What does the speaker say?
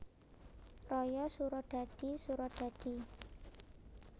Raya Suradadi Suradadi